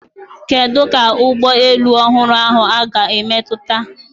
Kedu ka ụgbọ elu ọhụrụ ahụ ga-esi emetụta okporo ụzọ na ogige moto?